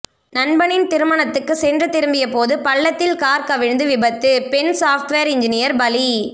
நண்பனின் திருமணத்துக்கு சென்று திரும்பியபோது பள்ளத்தில் கார் கவிழ்ந்து விபத்து பெண் சாப்ட்வேர் இன்ஜினியர் பலி